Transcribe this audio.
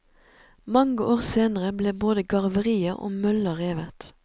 Mange år senere ble både garveriet og mølla revet.